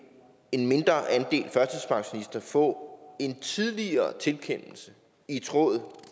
mindre andel af førtidspensionister få en tidligere tilkendelse i tråd